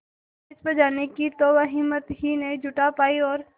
stage पर जाने की तो वह हिम्मत ही नहीं जुटा पाई और